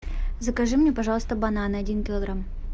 закажи мне пожалуйста бананы один килограмм